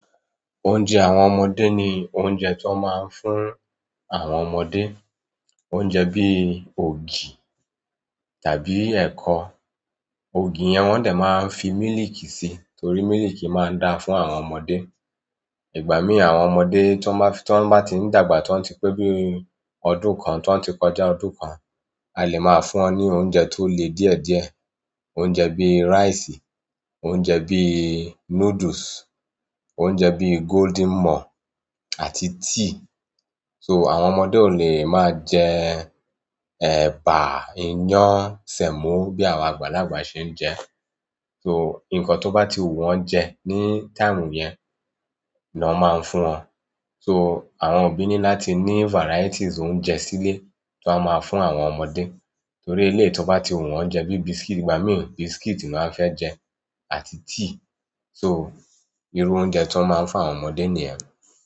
Oúnjẹ àwọn ọmọdé ni oúnjẹ tó máa ń fún àwọn ọmọdé. Oúnjẹ bí i ògì tàbí ẹ̀kọ. Ògì yẹn wọ́n dẹ̀ máa ń fi mílìkì sí, torí mílìkì máa ń da fún àwọn ọmọdé. Ìgbà mí àwọn ọmọdé tó bá ti ń dàgbà, tó ti pé bí i ọdún kan, tó ti kọjá ọdún kan, a lè máa fún wọn ní oúnjẹ tó le díẹ̀díẹ̀. Oúnjẹ bíi rice, oúnjẹ bíi noodles, oúnjẹ bíi Golden more àti tea so àwọn ọmọdé ò lè máa jẹ ẹ̀bà, iyán, sẹ̀mọ́ bí àwọn àgbàlagbà ṣe ń jẹ. So nǹkan tó bá ti wù wọ́n jẹ ní táìmù yẹn ni wọ́n máa ń fún wọn. So àwọn òbí ní láti ní varieties oúnjẹ sílé tó máa máa fún àwọn ọmọdé. Torí eléyìí tó bá ti wù wọ́n jẹ bíi biscuit, ìgbà mí biscuit ni wọ́n á fẹ́ jẹ àti tea so irú oúnjẹ tó máa ń fún àwọn ọmọdé nìyẹn.